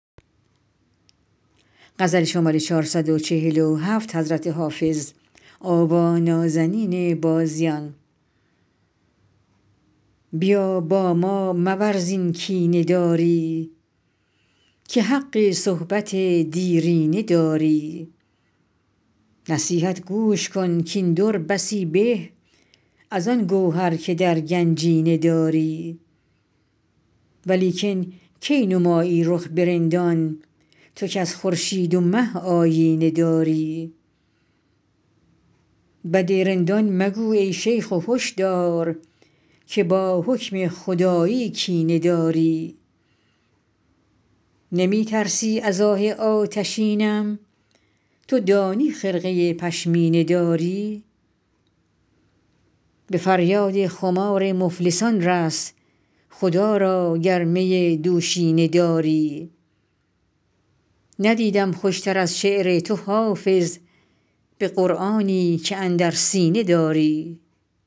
بیا با ما مورز این کینه داری که حق صحبت دیرینه داری نصیحت گوش کن کاین در بسی به از آن گوهر که در گنجینه داری ولیکن کی نمایی رخ به رندان تو کز خورشید و مه آیینه داری بد رندان مگو ای شیخ و هش دار که با حکم خدایی کینه داری نمی ترسی ز آه آتشینم تو دانی خرقه پشمینه داری به فریاد خمار مفلسان رس خدا را گر می دوشینه داری ندیدم خوش تر از شعر تو حافظ به قرآنی که اندر سینه داری